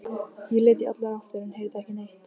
Ég leit í allar áttir en heyrði ekki neitt.